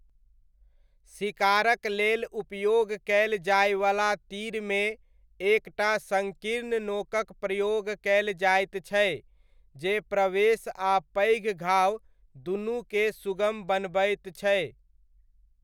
शिकारक लेल उपयोग कयल जाइवला तीरमे एक टा सङ्कीर्ण नोकक प्रयोग कयल जाइत छै जे प्रवेश आ पैघ घाव दुनूके सुगम बनबैत छै।